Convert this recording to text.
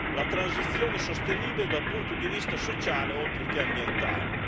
la transizione sostenibile dal punto di vista sociale oltre che ambientale.